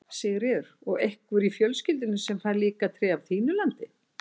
Sigríður: Og einhver í fjölskyldunni sem fær líka tré af þínu landi?